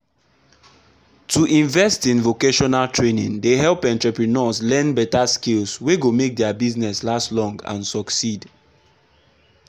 to invest in vocational training dey help entrepreneurs learn better skills wey go make their business last long and succeed.